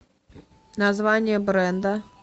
название бренда